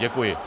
Děkuji.